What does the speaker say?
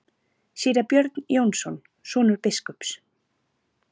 Síra Björn Jónsson, sonur biskups.